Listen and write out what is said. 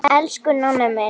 Elsku Nonni minn.